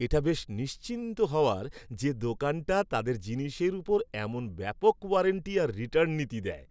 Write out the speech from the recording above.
এটা বেশ নিশ্চিন্ত হওয়ার যে দোকানটা তাদের জিনিসের উপর এমন ব্যাপক ওয়ারেন্টি আর রিটার্ণ নীতি দেয়।